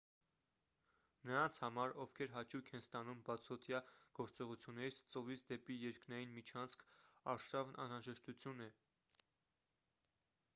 նրանց համար ովքեր հաճույք են ստանում բացօդյա գործողություններից ծովից դեպի երկնային միջանցք արշավն անհրաժեշտություն է